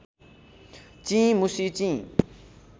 चिं मुसी चिं